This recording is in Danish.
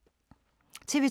TV 2